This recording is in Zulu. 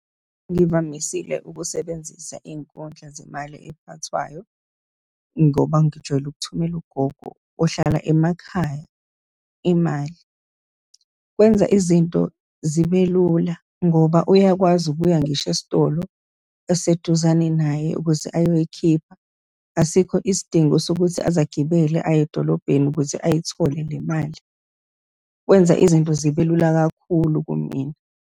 Ngivamisile ukusebenzisa inkundla zemali ephathwayo, ngoba ngijwayele ukuthumela ugogo ohlala emakhaya imali. Kwenza izinto zibe lula, ngoba uyakwazi ukuya ngisho esitolo eseduzane naye ukuze uyoyikhipha. Asikho isidingo sokuthi aze agibele, aye edolobheni ukuze ayithole le mali. Kwenza izinto zibe lula kakhulu kumina.